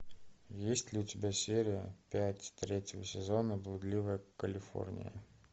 есть ли у тебя серия пять третьего сезона блудливая калифорния